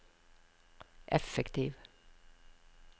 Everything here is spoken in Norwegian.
effektiv